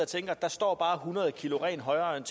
allerede